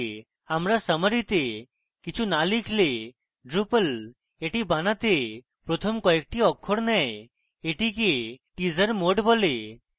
আমরা summary তে কিছু না লিখলে drupal এটি বানাতে প্রথম কয়েকটি অক্ষর নেয় এটিকে teaser mode বলে